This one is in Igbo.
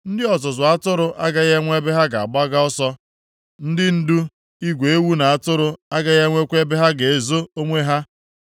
Ndị ọzụzụ atụrụ agaghị enwe ebe ha ga-agbaga ọsọ; ndị ndu igwe ewu na atụrụ agaghị enwekwa ebe ha ga-ezo onwe ha.